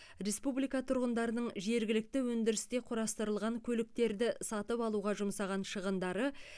республика тұрғындарының жергілікті өндірісте құрастырылған көліктерді сатып алуға жұмсаған шығындары